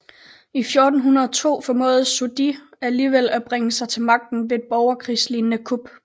I 1402 formåede Zhu Di alligevel at bringe sig til magten ved et borgerkrigslignede kup